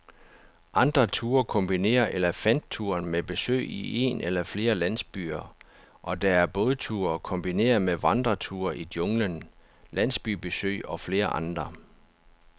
Andre ture kombinerer elefantturen med besøg i en eller flere landsbyer, og der er bådture kombineret med vandreture i junglen, landsbybesøg og flere andre.